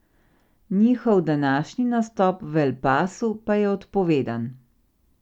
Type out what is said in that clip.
Njihov današnji nastop v El Pasu pa je odpovedan.